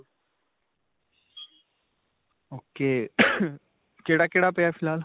ok, ਕਿਹੜਾ-ਕਿਹੜਾ ਪਿਆ ਫਿਲਹਾਲ?